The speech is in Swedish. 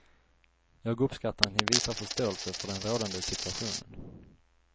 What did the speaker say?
Jag uppskattar att ni visar förståelse för den rådande situationen.